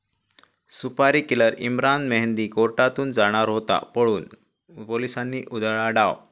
सुपारी किलर इम्रान मेहंदी कोर्टातून जाणार होता पळून, पोलिसांनी उधळला डाव